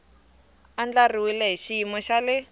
andlariwile hi xiyimo xa le